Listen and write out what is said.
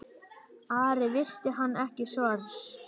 Ari virti hann ekki svars.